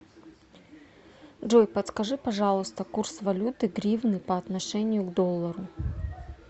джой подскажи пожалуйста курс валюты гривны по отношению к доллару